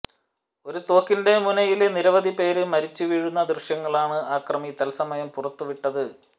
ഒരു തോക്കിന്റെ മുനയില് നിരവധി പേര് മരിച്ചു വീഴുന്ന ദൃശ്യങ്ങളാണ് അക്രമി തത്സമയം പുറത്തുവിട്ടത്